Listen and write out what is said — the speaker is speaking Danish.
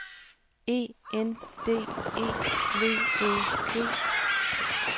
E N D E V Æ G